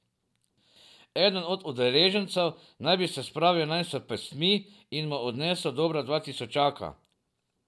Eden od udeležencev naj bi se spravil nanj s pestmi in mu odnesel dobra dva tisočaka.